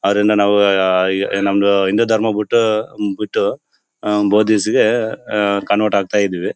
ಅದರಿಂದ ನಾವು ಉ ಆ ನಮ್ಮ ಹಿಂದೂ ಧರ್ಮ ಬಿಟ್ಟು ಬಿಟ್ಟು ಬೌದಿಸ್ ಗೆ ಕನ್ವರ್ಟ್ ಆಗ್ತಾ ಇದ್ದೀವಿ.